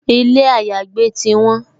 Ilé àyágbé ti won